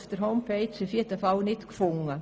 Auf der Homepage habe ich das nicht gefunden.